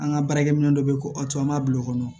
An ka baarakɛ minɛ dɔ bɛ yen ko aw to an b'a bila o kɔnɔ